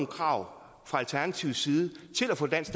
krav fra alternativets side til at få dansk